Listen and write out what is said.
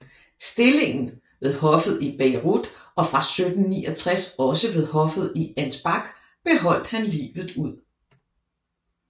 Stillingen ved hoffet i Bayreuth og fra 1769 også ved hoffet i Ansbach beholdt han livet ud